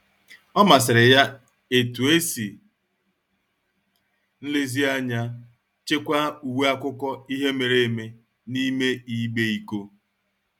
Ọ masịrị ya etu e si nlezianya chekwaa uwe akụkọ ihe mere eme n'ime igbe iko.